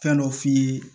Fɛn dɔ f'i ye